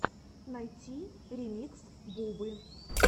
найти ремикс бубы